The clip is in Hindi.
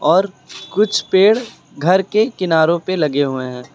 और कुछ पेड़ घर के किनारों पे लगे हुए हैं।